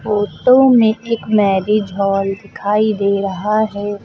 Photo में एक marriage hall दिखाई दे रहा है।